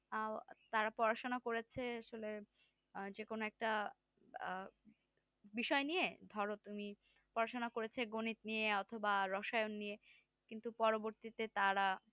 আহ তারা পড়াশুনো করেছে আসলে যেকোনো একটা আহ বিষয় নিয়ে ধরো তুমি পড়াশুনো করেছে গণিত নিয়ে অথবা রসায়ন নিয়ে কিন্তু পরবর্তীতে তারা